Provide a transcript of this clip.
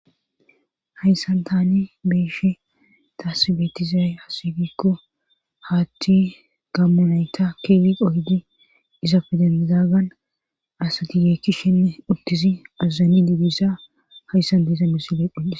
Hayssan taani beeshe taasi beetizay hasigikko haatti gammo nayta keeli qohidi iza fideizagan asatiyeekkishinne uttisi azazzani didissa hayssan diisa misile qhotdhis.